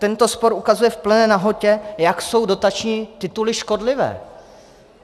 Tento spor ukazuje v plné nahotě, jak jsou dotační tituly škodlivé.